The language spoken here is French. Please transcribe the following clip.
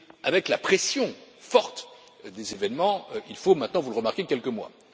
Avec la pression forte des événements, il faut maintenant vous le remarquez quelques mois.